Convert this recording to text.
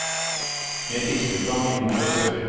Med fiskestang i nord og sør.